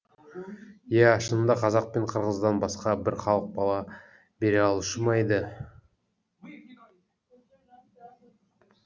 ия шынында қазақ пен қырғыздан басқа бір халық бала бере алушы ма еді